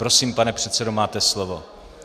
Prosím, pane předsedo, máte slovo.